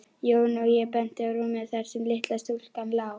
Jón og benti á rúmið þar sem litla stúlkan lá.